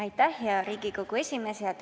Aitäh, hea Riigikogu esimees!